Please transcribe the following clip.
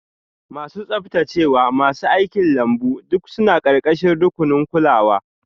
Masu tsaftacewa, masu aikin lambu duk suna ƙarƙashin rukunin kulawa.